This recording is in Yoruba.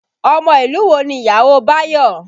Ọmọ ìlú wo ni ìyàwó Bayo?